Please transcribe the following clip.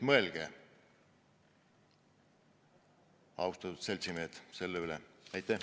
Mõelge, austatud seltsimehed, selle üle!